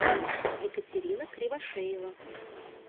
екатерина кривошеева